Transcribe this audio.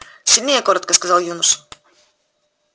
сильнее коротко сказал юноша